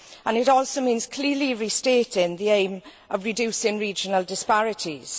It also means clearly restating the aim of reducing regional disparities.